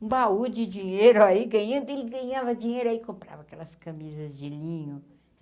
Um baú de dinheiro aí, ganhando, ele ganhava dinheiro aí, comprava aquelas camisas de linho.